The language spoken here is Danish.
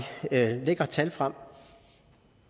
lægger tal frem